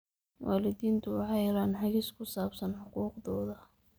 Waalidiintu waxay helaan hagis ku saabsan xuquuqdooda.